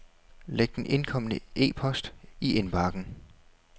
Læg den indkomne e-post i indbakken.